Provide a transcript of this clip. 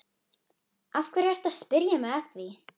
Af hverju ertu að spyrja mig að því?